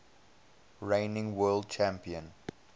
reigning world champion